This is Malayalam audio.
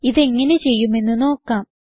ഇതെങ്ങനെ ചെയ്യുമെന്ന് നോക്കാം